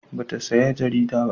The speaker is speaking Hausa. Ba ta saya jarida ba